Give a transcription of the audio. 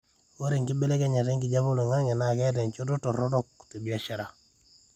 ore enkibelekenyata enkijape oloingangi naa keeta enchoto toronok tebiashara